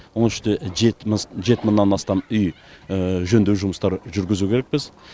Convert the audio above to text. оның ішінде жеті жеті мыңнан астам үй жөндеу жұмыстары жүргізу керекпіз